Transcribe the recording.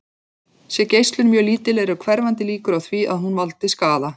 Sé geislun mjög lítil eru hverfandi líkur á því að hún valdi skaða.